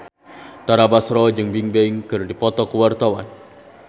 Tara Basro jeung Bigbang keur dipoto ku wartawan